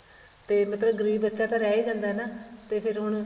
ਤੇ ਮਤਲਬ ਗਰੀਬ ਬੱਚਾ ਤਾਂ ਰਹੀ ਹੀ ਜਾਂਦਾ ਨਾ ਤੇ ਫ਼ੇਰ ਹੁਣ